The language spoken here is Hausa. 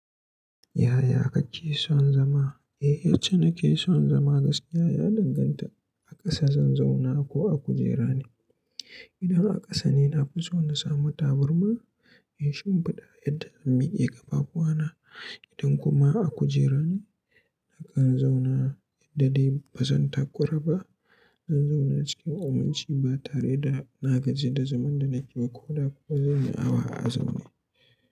Yaya kake son zama? Eh, yace nake son zama gaskiya, ya danganta a ƙasa zan zauna ko a kujera ne. Idan a ƙasa ne, na fi so na sami tabarma in shimfiɗa yadda zan miƙe kafafuwana. Idan kuma a kujera ne, nakan zauna yadda dai ba zan takurara ba. Zan zauna cikin ominci ba tare da na gaji da zaman da nake ba ko da ko zan yi awa a zaune.